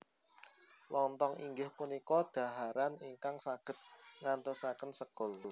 Lontong inggih punika dhaharan ingkang saged nggantosaken sekul